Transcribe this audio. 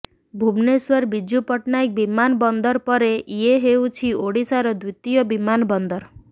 ଭୁବନେଶ୍ବର ବିଜୁ ପଟ୍ଟନାୟକ ବିମାନ ବନ୍ଦର ପରେ ଇଏ ହେଉଛି ଓଡ଼ିଶାର ଦ୍ବିତୀୟ ବିମାନ ବନ୍ଦର